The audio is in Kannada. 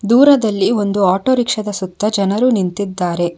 ದೂರದಲ್ಲಿ ಒಂದು ಆಟೋರಿಕ್ಷದ ಸುತ್ತ ಜನರು ನಿಂತಿದ್ದಾರೆ.